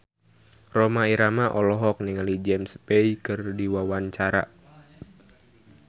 Rhoma Irama olohok ningali James Bay keur diwawancara